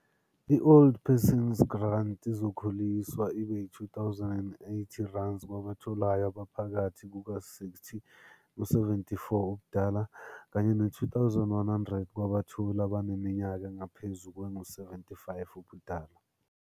I-Old Persons Grant izokhuliswa ibe yi-R2080, kwabatholayo abaphakathi kuka-60 no-74, kanye ne-R2100, kwabatholi abaneminyaka engaphezu kwengu-75 ubudala.